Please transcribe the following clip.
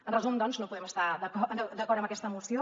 en resum doncs no podem estar d’acord amb aquesta moció